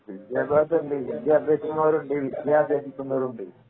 വിദ്യാഭ്യാസമുണ്ട് വിദ്യ അഭ്യസിക്കുന്നവരുമുണ്ട് വിദ്യ